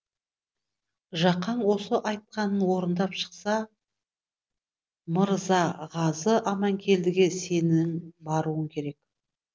жақаң осы айтқанын орындап шықса мырзағазы аманкелдіге сенің баруың керек